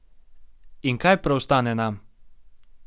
In kaj preostane nam?